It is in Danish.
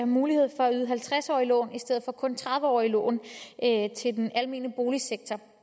mulighed for at yde halvtreds årige lån i stedet for kun tredive årige lån til den almene boligsektor